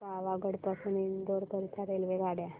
पावागढ पासून इंदोर करीता रेल्वेगाड्या